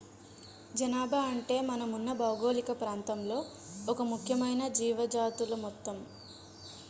జనాభా అంటే మనం ఉన్న భౌగోళిక ప్రాంతంలో ఒక ముఖ్యమైన జీవుజాతుల మొత్తము